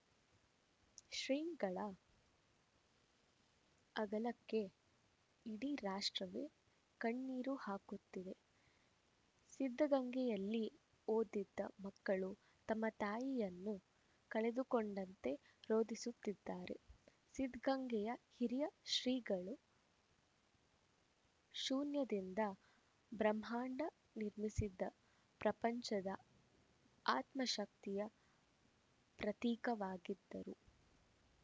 ಶ್ರೀಗಳ ಅಗಲಿಕೆಗೆ ಇಡೀ ರಾಷ್ಟ್ರವು ಕಣ್ಣೀರು ಹಾಕುತ್ತಿದೆ ಸಿದ್ಧಗಂಗೆಯಲ್ಲಿ ಓದಿದ ಮಕ್ಕಳು ತಮ್ಮ ತಾಯಿಯನ್ನು ಕಳೆದುಕೊಂಡಂತೆ ರೋದಿಸುತ್ತಿದ್ದಾರೆ ಸಿದ್ಧಗಂಗೆಯ ಹಿರಿಯ ಶ್ರೀಗಳು ಶೂನ್ಯದಿಂದ ಬ್ರಹ್ಮಾಂಡ ನಿರ್ಮಿಸಿದ ಪ್ರಪಂಚದ ಆತ್ಮಶಕ್ತಿಯ ಪ್ರತೀಕವಾಗಿದ್ದರು